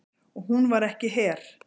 Og hún var ekki her.